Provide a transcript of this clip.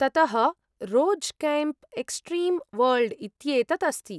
ततः Rose Camp Extreme World इत्येतत् अस्ति।